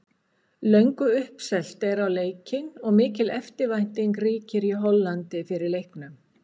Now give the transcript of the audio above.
Löngu uppselt er á leikinn og mikil eftirvænting ríkir í Hollandi fyrir leiknum.